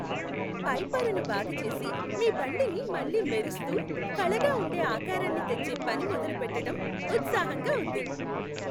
పైపొరను బాగు చేసి మీ బండిని మళ్ళీ మెరిస్తూ, కళగా ఉండే ఆకారానికి తెచ్చే పని మొదలు పెట్టటం ఉత్సాహంగా ఉంది!